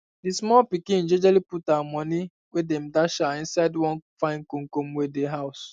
d small pikin jejely put her moni wey dem dash her for inside one fine koomkoom wey dey house